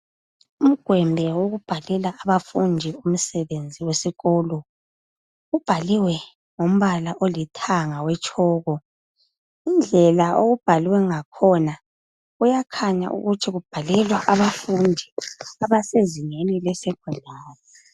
Umgwembe wokubhalela abafundi umsebenzi wesikolo ubhaliwe ngombala olithanga owetshoko, indlela okubhalwe ngakhona kuyakhanya ukuthi kubhalelwa abafundi abasezingeni leSecondary.